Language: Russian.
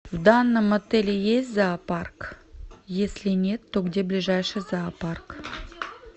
в данном отеле есть зоопарк если нет то где ближайший зоопарк